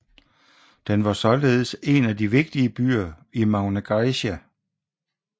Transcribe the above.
Den var således en af de vigtigere byer i Magna Graecia